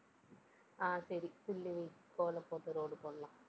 ஆஹ் சரி, புள்ளி வை. கோலம் போட்டு road போடலாம்.